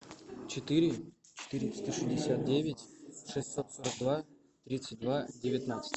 четыре четыреста шестьдесят девять шестьсот сорок два тридцать два девятнадцать